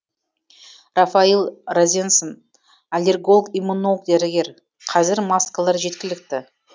рафаил розенсон аллерголог иммунолог дәрігер қазір маскалар жеткілікті